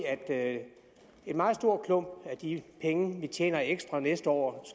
at en meget stor klump af de penge vi tjener ekstra næste år